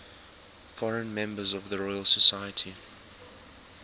foreign members of the royal society